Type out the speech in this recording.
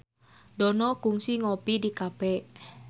Dono kungsi ngopi di cafe